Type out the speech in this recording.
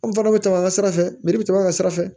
An fana bɛ taa a sira fɛ biriki bɛ taa sira fɛ